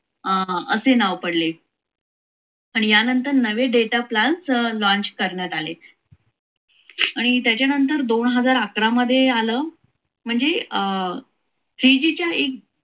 अं असे नाव पडले आणि यानंतर नवे data plan launch करण्यात आले आणि त्याच्यानंतर दोन हजार अकरा मध्ये आलो म्हणजे three g च्या एक